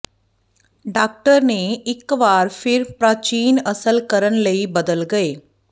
doctor ਨੇ ਇਕ ਵਾਰ ਫਿਰ ਪ੍ਰਾਚੀਨ ਅਸਲ ਕਰਨ ਲਈ ਬਦਲ ਗਏ